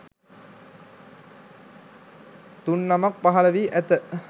තුන්නමක් පහළ වී ඇත.